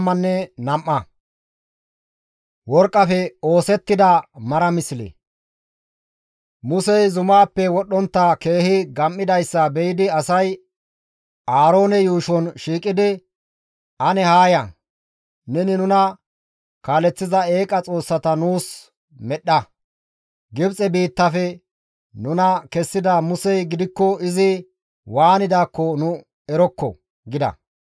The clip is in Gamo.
Musey zumaappe wodhdhontta keehi gam7idayssa be7idi asay Aaroone yuushon shiiqidi, «Ane Haa ya; neni nuna kaaleththiza eeqa xoossata nuus medhdha. Gibxe biittaafe nuna kessida Musey gidikko izi waanidaakko nu erokko!» gida.